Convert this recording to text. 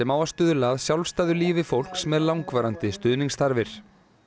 á að stuðla að sjálfstæðu lífi fólks með langvarandi stuðningsþarfir